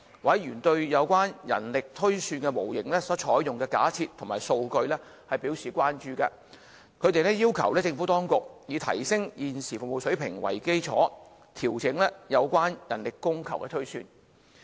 委員對有關人力推算模型所採用的假設及數據表示關注，他們要求政府當局，以提升現時的服務水平為基礎，調整有關的人力供求推算。